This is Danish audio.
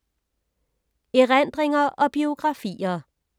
Erindringer og biografier